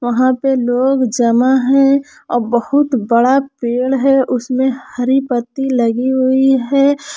वहां पे लोग जमा है आ बहुत बड़ा पेड़ है उसमें हरी पत्ती लगी हुई है।